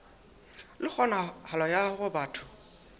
le kgonahalo ya hore batho